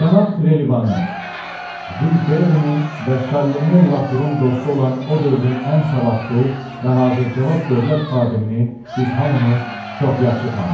Cənab Trelivanı, Jül Ferrinin və Şallemen Lakunun dostu olan o dövrün ən savadlı və hazır cavab dövlət xadimini biz hamımız çox yaxşı tanıyırdıq.